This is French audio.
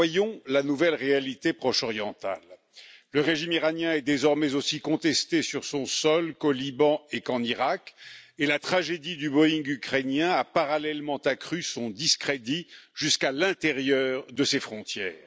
voyons la nouvelle réalité proche orientale. Le régime iranien est désormais aussi contesté sur son sol qu'au Liban et qu'en Iraq et la tragédie du Boeing ukrainien a parallèlement accru son discrédit jusqu'à l'intérieur de ses frontières.